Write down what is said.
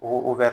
O bɛ